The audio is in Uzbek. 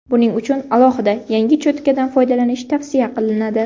Buning uchun alohida yangi cho‘tkadan foydalanish tavsiya qilinadi.